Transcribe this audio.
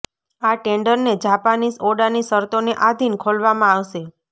આ ટેન્ડર તે જાપાનીસ ઓડાની શરતોને આધિન ખોલવામા આવશે